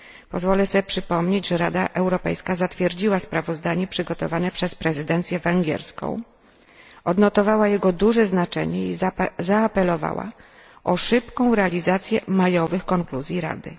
Pozwolę sobie przypomnieć, że Rada Europejska zatwierdziła sprawozdanie przygotowane przez prezydencję węgierską, odnotowała jego duże znaczenie i zaapelowała o szybką realizację majowych konkluzji Rady.